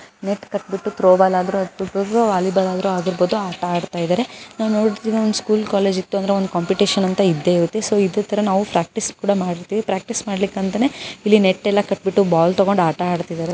Net ಕಟ್ ಬಿಟ್ಟು throwball ಆಡಬಹುದು ವಾಲಿಬಾಲ್ ಆದ್ರೂ ಆಡಬಹುದು ಆಟ ಆಡ್ತಾ ಇದ್ದಾರೆ ನಮ್ಮ ಸ್ಕೂಲ್ ಅಂದ್ರೆ ಒಂದು ಯಾವುದಾದರೂ ಒಂದು ಕಾಂಪಿಟಿಷನ್ ಇದ್ದೆ ಇರದು ಪ್ರಾಕ್ಟೀಸ್ ಮಾಡೋಕೆ ನಾವು ನೆಟ್ ಕಟ್ಕೊಂಡು ಪ್ರಾಕ್ಟೀಸ್ ಮಾಡ್ತೀವಿ ಅದೇ ರೀತಿ ಇಲ್ಲಿ ಪ್ರಾಕ್ಟೀಸ್ ಮಾಡ್ತಾ ಇದ್ದಾರೆ.